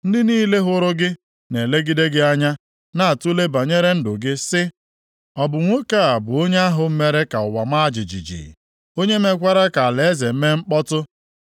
Ndị niile hụrụ gị na-elegide gị anya, na-atule banyere ndụ gị, sị, “Ọ bụ nwoke a bụ onye ahụ mere ka ụwa maa jijiji, onye mekwara ka alaeze mee mkpọtụ.